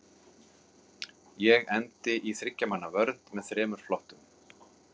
Ég endi í þriggja manna vörn með þremur flottum.